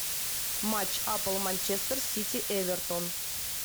матч апл манчестер сити эвертон